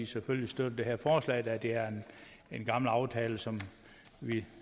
selvfølgelig støtter det her forslag da det er en gammel aftale som vi